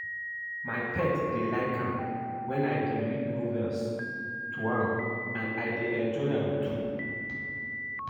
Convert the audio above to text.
My pet dey like am wen I dey read novels to am and I dey enjoy am too